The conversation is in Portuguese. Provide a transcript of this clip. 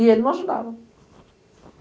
E ele não ajudava.